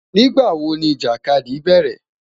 Nigbawo ni ijakadi bẹrẹ?